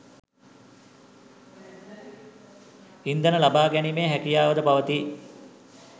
ඉන්ධන ලබා ගැනීමේ හැකියාවද පවති